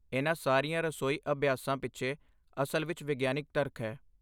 ਇਨ੍ਹਾਂ ਸਾਰੀਆਂ ਰਸੋਈ ਅਭਿਆਸਾਂ ਪਿੱਛੇ ਅਸਲ ਵਿੱਚ ਵਿਗਿਆਨਕ ਤਰਕ ਹੈ।